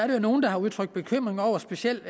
der er nogle der har udtrykt bekymring over specielt